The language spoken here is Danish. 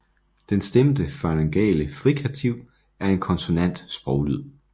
Den stemte faryngale frikativ er en konsonant sproglyd